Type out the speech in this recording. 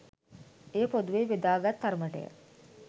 එය පොදුවේ බෙදාගත් තරමටය